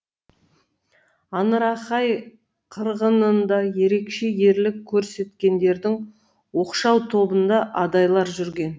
аңырақай қырғынында ерекше ерлік көрсеткендердің оқшау тобында адайлар жүрген